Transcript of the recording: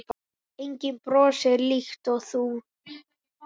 Enginn brosir líkt og þú.